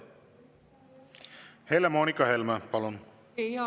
Helle-Moonika Helme, palun!